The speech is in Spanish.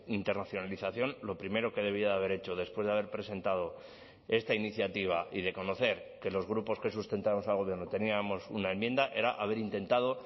internacionalización lo primero que debía haber hecho después de haber presentado esta iniciativa y de conocer que los grupos que sustentamos al gobierno teníamos una enmienda era haber intentado